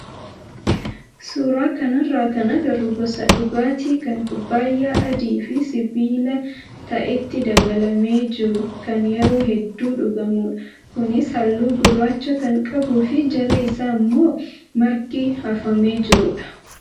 Suuraa kanarraa kan agarru gosa dhugaatii kan kubbaayyaa adii fi sibiila ta'etti dabalamee jiru kan yeroo hedduu dhugamudha. Kunis halluu gurraacha kan qabuu fi jala isaa immoo margi hafamee jirudha.